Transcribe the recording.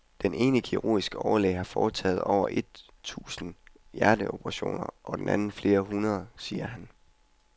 Den ene kirurgiske overlæge har foretaget over et tusind hjerteoperationer og den anden flere hundrede, siger han.